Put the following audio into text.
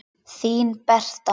Þín Berta.